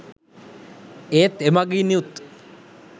ඒත් එමඟිනුත්